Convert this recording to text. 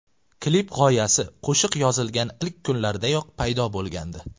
Klip g‘oyasi qo‘shiq yozilgan ilk kunlardayoq paydo bo‘lgandi.